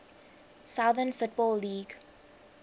southern football league